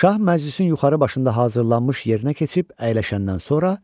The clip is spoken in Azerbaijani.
Şah məclisin yuxarı başında hazırlanmış yerinə keçib əyləşəndən sonra,